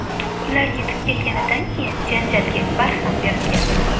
Ular yetib kelganidan keyin janjalga barham berilgan.